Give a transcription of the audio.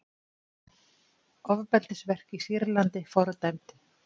Ofbeldisverk í Sýrlandi fordæmd